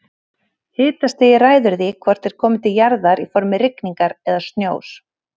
Hitastigið ræður því hvort þeir komi til jarðar í formi rigningar eða snjós.